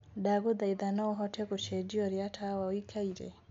ndagũthaĩtha no ũhote kucenjia uria tawa uikare